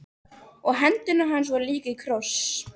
Og hendur hans voru líka í kross.